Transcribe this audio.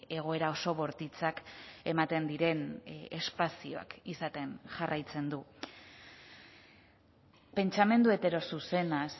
egoera oso bortitzak ematen diren espazioak izaten jarraitzen du pentsamendu heterozuzenaz